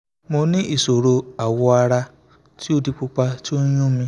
mo ni iṣoro awọ ara ti o di pupa ti o yun mi